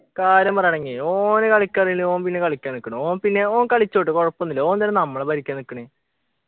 കാര്യം പറയാണെങ്കി ഓന് കളിക്കാനറിലെ ഓൻ പിന്നെ കളിക്കാൻ നിക്കണോ ഓൻ പിന്നെ ഓൻ കളിച്ചോട്ട് കൊഴപ്പോന്നും ഇല്ല ഓൻ എന്തിനാ നമ്മളെ ഭരിക്കാൻ നിക്കണ്